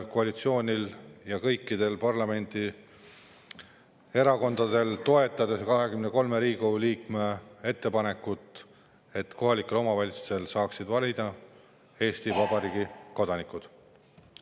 Koalitsioonil ja kõikidel parlamendierakondadel tasub toetada 23 Riigikogu liikme ettepanekut, et kohalikel saaksid valida just Eesti Vabariigi kodanikud.